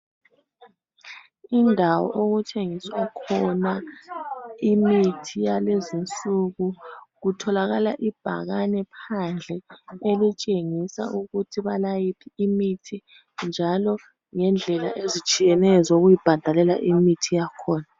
indawo okuthengiswa khona imithi yalezinsuku kutholakala ibhakane phandle okutshengisa ukuthi balayiphi imithi njalo lendlela ezitshiyeneyo zokuyibhadalela imithi yakhona